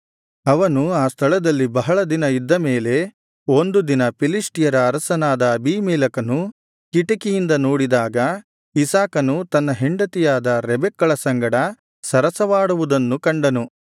ಅವನು ಆ ಸ್ಥಳದಲ್ಲಿ ಬಹಳ ದಿನ ಇದ್ದ ಮೇಲೆ ಒಂದು ದಿನ ಫಿಲಿಷ್ಟಿಯರ ಅರಸನಾದ ಅಬೀಮೆಲೆಕನು ಕಿಟಿಕಿಯಿಂದ ನೋಡಿದಾಗ ಇಸಾಕನು ತನ್ನ ಹೆಂಡತಿಯಾದ ರೆಬೆಕ್ಕಳ ಸಂಗಡ ಸರಸವಾಡುವುದನ್ನು ಕಂಡನು